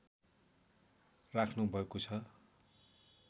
राख्नुभएको छ